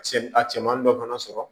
Se a cɛman dɔ fana sɔrɔ